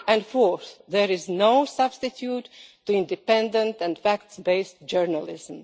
Fourthly, there is no substitute for independent and fact based journalism.